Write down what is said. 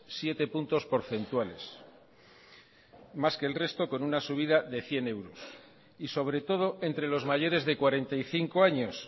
siete puntos porcentuales más que el resto con una subida de cien euros y sobre todo entre los mayores de cuarenta y cinco años